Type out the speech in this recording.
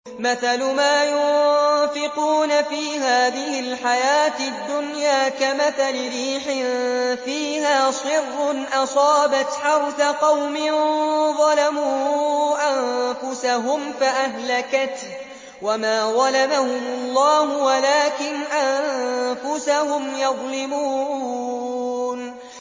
مَثَلُ مَا يُنفِقُونَ فِي هَٰذِهِ الْحَيَاةِ الدُّنْيَا كَمَثَلِ رِيحٍ فِيهَا صِرٌّ أَصَابَتْ حَرْثَ قَوْمٍ ظَلَمُوا أَنفُسَهُمْ فَأَهْلَكَتْهُ ۚ وَمَا ظَلَمَهُمُ اللَّهُ وَلَٰكِنْ أَنفُسَهُمْ يَظْلِمُونَ